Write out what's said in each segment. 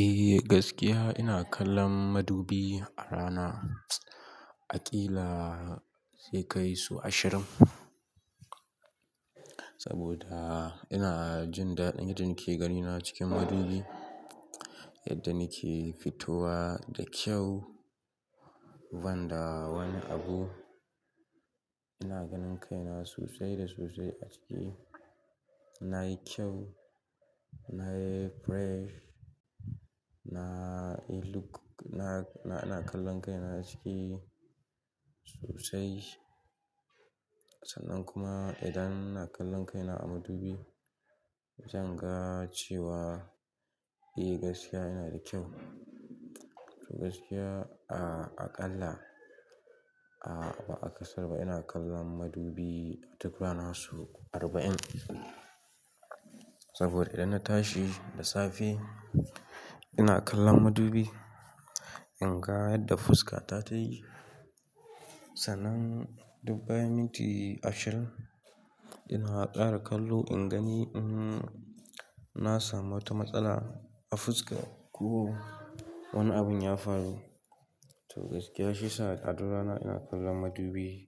Eh gaskiya ina kallon madubi a rana aƙila sai kai su ashirin. Saboda ina jin daɗi yadda nake ganina cikin madubi, yadda nake fitowa da kyau, wanda wani abu ina ganin kaina sosai da sosai a ciki. Na yi kyau, na yi fresh, na yi look, na, na, na kallon kaina a ciki sosai. Sannan kuma idan ina kallon kaina a madubi zan ga cewa eh gaskiya ina da kyau. To gaskiya a, aƙalla a ba'a kasar ba ina kallon madubi a tukura nasu arba'in. Saboda idan na tashi da safe ina kallon madubi in ga yadda fuska ta tayi. Sannan dubbai minti ashirin ina haƙara kallo in gani, mm, na samu wata matsala a fuska ko wani abin ya faru. To gaskiya shiyasa a duk rana ina kallon madubi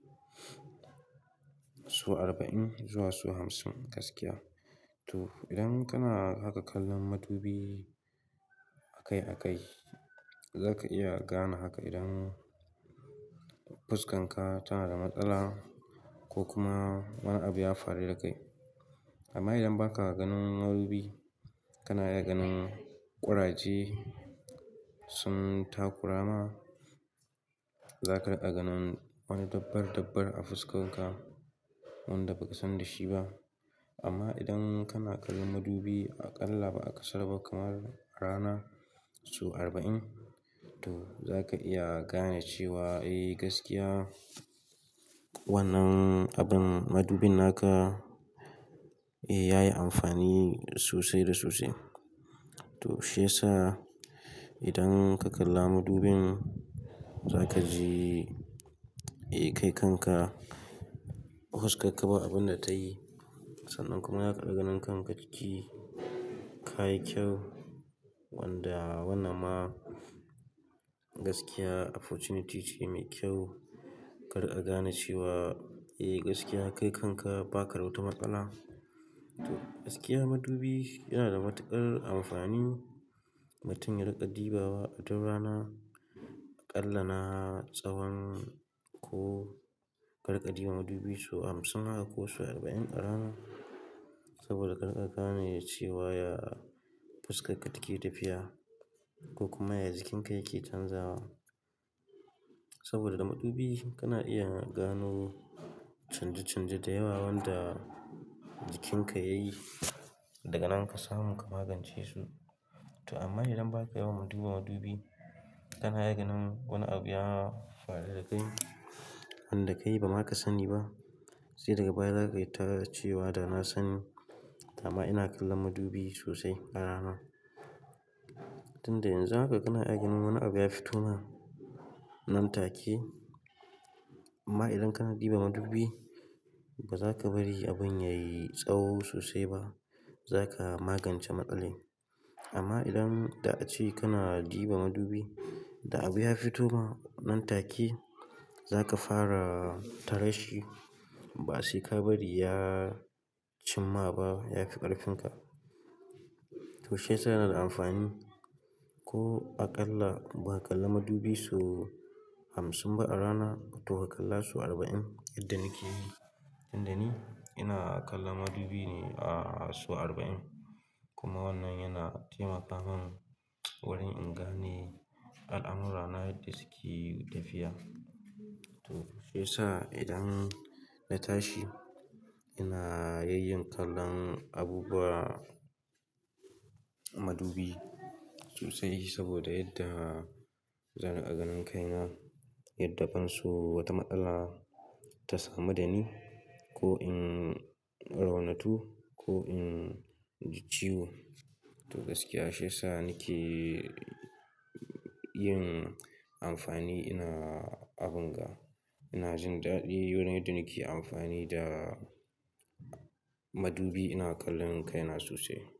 so arba'in zuwa so hamsin gaskiya. To idan kana haka kallon madubi a kai a kai zaka iya gane haka idan fuskan ka tana da matsala ko kuma wani abu ya faru da kai. Amma idan baka ganin madubi kana iya ganin ƙuraje sun takura ma, zaka riƙa ganin wani dabbar dabbar a fuskar ka wanda baka san da shi ba. Amma idan kana kallon madubi aƙalla ba'a kasar ba kamar rana so arba'in to zaka iya gane cewa eh gaskiya wannan abin madubin naka eh ya yi amfani sosai da sosai. To shiyasa idan ka kalla madubin za kaji eh kai kanka fuskarka ba abin da ta yi. Sannan kuma zaka riƙa ganin kanka ciki ka yi kyau wanda wannan ma gaskiya opportunity ce mai kyau. Kar ka gane cewa eh gaskiya kai kanka ba ka da wata matsala. To gaskiya madubi yana da matuƙar amfani. Mutum ya riƙa dubawa a duk rana aƙalla na tsawon ko ka riƙa duba madubi su hamsin haka ko su arba'in a rana. Saboda kar ka gane cewa ya fuskar ka take tafiya ko kuma ya jikin ka yake canzawa. Saboda da madubi kana iya gano canje canje da yawa wanda jikin ka yayi. Daga nan ka samu ka magance su. To amma idan baka yawan duba madubi kana iya ganin wani abu ya faru da kai wanda kai ba zaka sani ba. Sai daga baya za ka yi tare cewa da na sani amma ina kallon madubi sosai a rana. Tunda yanzu haka kana iya ganin wani abu ya fito ma nan take. Amma idan kana ɗuba madubi ba za ka bari abun yayi tsawo sosai ba. Za ka magance matsalan. Amma idan da a ce kana ɗuba madubi da abu ya fito ma nan take za ka fara tare shi ba sai ka bari ya cimma ba ya fi ƙarfinka. To shiyasa yana da amfani ko aƙalla ba ka kalla madubi so hamsin ba a rana to ka kalla so arba'in yadda nake yi. Inda ni ina kallon madubi ne a so arba'in kuma wannan yana taimaka min wurin in gane al'amurra na yadda suke tafiya. To shiyasa idan na tashi ina yayyin kallon abubuwa madubi sosai saboda yadda zan riƙa ganin kaina yadda ban so wata matsala ta samu da ni ko in raunatu ko in ji ciwo. To gaskiya shiyasa nake yin amfani ina abin ga. Ina jin daɗi wurin idan nake amfani da madubi ina kallon kaina sosai.